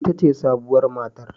Ita ce sabuwar matar